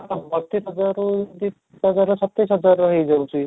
ବତିଶ ହଜାର ରୁ ତିରିଶ ସତେଇଶ ହଜାର ର ହେଇ ଯାଉଛି